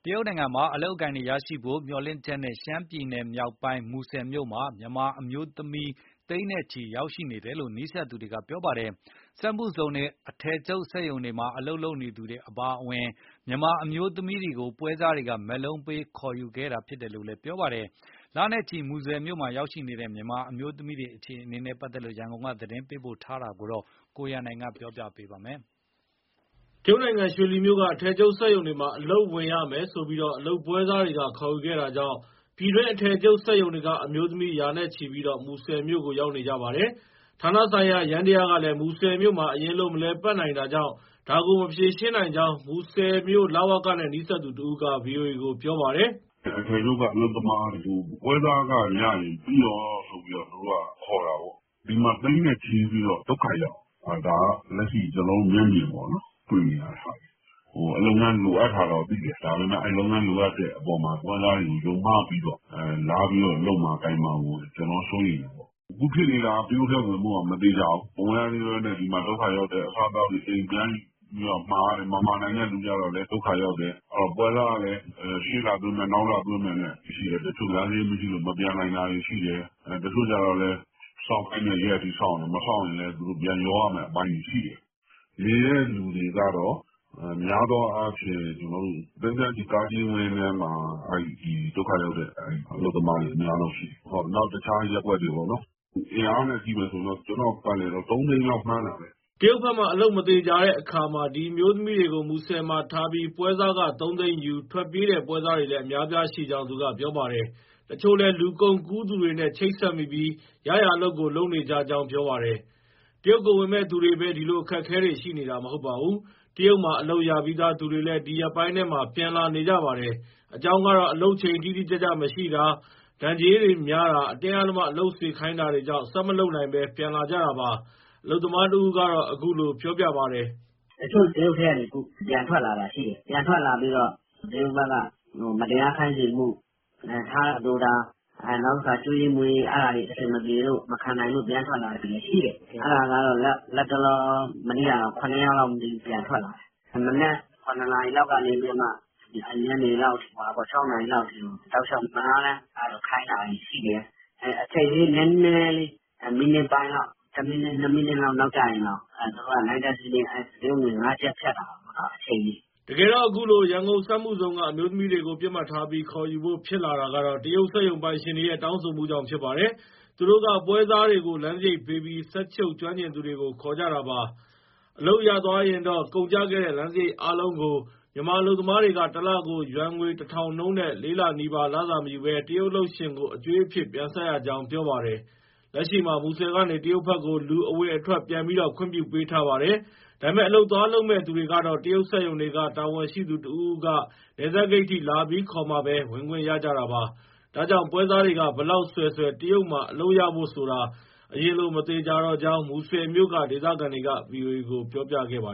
ရုတ်နိုင်ငံမှာ အလုပ်အကိုင်ရဖို့မျှော်လင့်ချက်နဲ့ ရှမ်းပြည်နယ်မြောက်ပိုင်း မူဆယ်မြို့မှာ မြန်မာ အမျိုးသမီးသိန်းနဲ့ချီရောက်နေတယ်လို့ နီးစပ်သူတွေက ပြောပါတယ်။ စက်မှုဇုန်၊ အထည်ချုပ်စက်ရုံ တွေမှာ အလုပ်လုပ်နေသူတွေအပါအဝင် မြန်မာအမျိုးသမီးတွေကို ပွဲစားတွေက မက်လုံးပေးခေါ်နေတာ လို့လည်း ပြောပါတယ်။ လနဲ့ချီ မူဆယ်မြို့မှာရောက်နေကြတဲ့ မြန်မာအမျိုးသမီးတွေ အခြေအနေနဲ့ ပတ်သက်လို့ ရန်ကုန်က သတင်းပေးပို့ထားတာကို ကိုရန်နိုင်တင်ပြထားပါတယ်။ တရုတ်နိုင်ငံ၊ ရွှေလီမြို့က အထည်ချုပ်စက်ရုံတွေမှာ အလုပ်ဝင်ရမယ်ဆိုပြီး အလုပ်ပွဲစားတွေက ခေါ်ယူ ခဲ့တာကြောင့်ပြည်တွင်းအထည်ချုပ်စက်ရုံတွေက အမျိုးသမီးတွေသိန်းနဲ့ချီပြီး မူဆယ်မြို့ကို ရောက်နေ ကြပါတယ်။ ဌာနဆိုင်ရာယန္တရားကလည်း မူဆယ်မြို့မှာ အရင်လို မလည်ပတ်နိုင်တာကြောင့် ဒါကို မဖြေရှင်းနိုင်ကြောင်း မူဆယ်မြို့ လဝကနဲ့နီးစပ်သူတဦးက ဗွီအိုအေကို ပြောပါတယ်။ "အထည်ချုပ်က အလုပ်သမားတွေကို ပွဲစားခရရင် ပြီးရောဆိုပြီး သူတို့က ခေါ်တာကိုး။ ဒီမှာ သိန်းနဲ့ချီ ပြီး ဒုက္ခရောက်နေတယ်။ ဒါကတော့ ကျနော်တို့ မျက်မြင်ပေါ့နော်၊ တွေ့နေရတဲ့ဟာတွေ။ လုပ်ငန်း လိုအပ်တာတော့သိတယ်။ ဒါပေမဲ့လုပ်ငန်းလိုအပ်တဲ့အပေါ်မှာ ပွဲစားတွေကိုယုံမှားပြီးတော့ လာပြီး လုပ်မှာကိုင်မှာကို ကျနော်က စိုးရိမ်တာ။ အခုဖြစ်နေတာက တရုတ်ထဲဝင်ဖို့က မသေချာဘူး။ မဝင်ရ သေးဘဲ ဒီမှာ ဒုက္ခရောက်တယ်။ အစားအသောက်တွေ အိမ်ပြန်ယူပြီးမှာရတယ်။ မမှာနိုင်တဲ့သူ ကျလည်း ဒုက္ခရောက်တယ်။ ပွဲစားကလည်း ရှေ့လသွင်းမယ်၊ နောက်လသွင်းမယ်နဲ့ တချို့လမ်းစရိတ် မရှိတော့ မပြန်နိုင်တာတွေ ရှိတယ်။ တချို့ကျတော့လည်း စောင့်ခိုင်းတဲ့ရက်အထိ စောင့်တယ်၊ မစောင့်ရင်လည်း ပြန်လျော်ရမဲ့ အပိုင်းတွေရှိတယ်။ (မူဆယ်မှာ) နေတဲ့သူတွေက များသောအားဖြင့် သိန်းသန်းချီ ကားကြီးဝင်းထဲမှာ ဒုက္ခရောက်တဲ့ အလုပ်သမားတွေ အများဆုံးရှိတယ်။ နောက် တခြား ရပ်ကွက်တွေပေါ့နော်။ အင်အားအနေနဲ့ ကျနော့ပတ်လည်တော့ သုံးသိန်းလောက် မှန်းတာပဲ။" တရုတ်ဘက်မှာ အလုပ်မသေချာတဲ့အခါမှာ ဒီအမျိုးသမီးတွေကို မူဆယ်မှာထားပြီး ပွဲစားခ ၃ သိန်းယူ၊ ထွက်ပြေးတဲ့ပွဲစားတွေလည်း အများအပြားရှိကြောင်း သူကပြောပါတယ်။ တချို့လည်း လူကုန်ကူး သူတွေနဲ့ ချိတ်ဆက်မိပြီး ရရာအလုပ်ကို လုပ်နေကြကြောင်း ပြောပါတယ်။ တရုတ်ကိုဝင်မဲ့ သူတွေပဲ ဒီလိုအခက်အခဲတွေ ရှိနေတာ မဟုတ်ပါဘူး။တရုတ်မှာ အလုပ်ရပြီးသားသူတွေလည်း ဒီရက်ပိုင်းထဲမှာ ပြန်လာနေကြပါတယ်။ အကြောင်းကတော့ အလုပ်ချိန်တိတိကျကျမရှိတာ၊ ဒဏ်ကြေးတွေများတာ၊ အတင်းအဓမ္မ အလုပ်စေခိုင်းတာတွေကြောင့် ဆက်မလုပ်နိုင်ဘဲ ပြန်လာကြတာပါ။ အလုပ်သမား တဦးက အခုလို ပြောပြပါတယ်။ တချို့ တရုတ်ထဲကနေ ပြန်ထွက်လာတာရှိတယ်၊ ပြန်ထွက်လာပြီး တရုတ်ဘက်က မတရားခိုင်းစေမှု၊ ထားတာသိုတာနောက်ပြီး အကျွေးအမွေး အဲဒါတွေကိုမခံနိုင်လို့ ပြန်ထွက်လာတဲ့သူတွေ ရှိတယ်။ အဲဒါကတော့ လက်တလော မနေ့က ၇ ယောက်လောက် ပြန်ထွက်လာတယ်။ မနက် ၇ နာရီလောက်ကနေ ညနေလောက် ၆ နာရီလောက်အထိ တောက်လျှောက်မနားတမ်း ခိုင်းတာတွေရှိတယ်။ အချိန်လေး နည်းနည်းလေး မိနစ်ပိုင်းလောက် တမိနစ်၊ နှစ်မိနစ်လောက် နောက်ကျရင်တောင် သူတို့က နိုင့်ထက်စီးနင်း တရုတ်ငွေ ၅ ကျပ်ဖြတ်တာပေါ့နော်။" တကယ်တော့ အခုလို ရန်ကုန်စက်မှုဇုံက အမျိုးသမီးတွေကို ပစ်မှတ်ထားပြီး ခေါ်ယူဖို့ ဖြစ်လာတာကတော့ တရုတ်စက်ရုံပိုင်ရှင်တွေရဲ့ တောင်းဆိုမှုကြောင့် ဖြစ်ပါတယ်။ သူတို့က ပွဲစားတွေကို လမ်းစရိတ်ပေးပြီး စက်ချုပ်ကျွမ်းကျင်သူတွေကို ခေါ်ကြတာပါ။ အလုပ်ရသွားရင်တော့ ကုန်ကျခဲ့တဲ့ လမ်းစရိတ်အားလုံးကို မြန်မာအလုပ်သမားတွေက တလကိုယွမ်ငွေ ၁,၀၀၀ နှုန်းနဲ့ လေးလနီးပါး လစာမယူဘဲ တရုတ်အလုပ်ရှင်ကို အကြွေးအဖြစ် ပြန်ဆပ်ရကြောင်း ပြောပါတယ်။ လက်ရှိမှာ မူဆယ်ကနေ တရုတ်ဘက်ကို လူအဝင်အထွက် ပြန်ပြီး ခွင့်ပြုပေးထားပါတယ်။ ဒါပေမဲ့ အလုပ်သွားလုပ်မဲ့သူတွေကတော့ တရုတ်စက်ရုံတွေက တာဝန်ရှိသူတဦးဦးက နယ်စပ်ဂိတ်အထိ လာပြီးခေါ်မှပဲ ဝင်ခွင့်ရကြတာပါ။ ဒါကြောင့် ပွဲစားတွေက ဘယ်လောက်ဆွယ်ဆွယ် တရုတ်မှာ အလုပ်ရဖို့ဆိုတာ အရင်လို မသေချာတော့ကြောင်း မူဆယ်မြို့က ဒေသခံတွေက ဗွီအိုအေကို ပြောပြခဲ့တာပါ